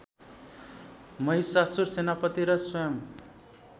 महिषासुर सेनापति र स्वयं